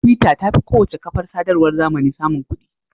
Twitter ta fi kowace kafar sadarwar zamani samun kuɗi.